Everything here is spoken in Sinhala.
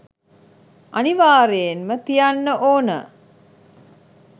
අනිවාර්යයෙන්ම තියන්න ඕන